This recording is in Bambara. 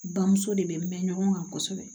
Bamuso de bɛ mɛn ɲɔgɔn kan kosɛbɛ